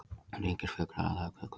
Hún tengist flughraða fuglanna.